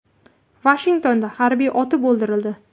Vashingtonda harbiy otib o‘ldirildi.